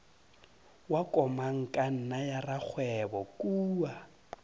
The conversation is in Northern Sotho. wa komangkanna ya rakgwebo kua